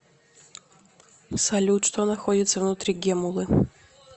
салют что находится внутри геммулы